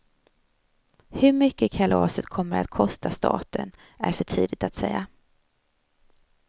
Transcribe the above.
Hur mycket kalaset kommer att kosta staten är för tidigt att säga.